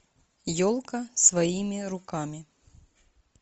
елка своими руками